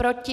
Proti?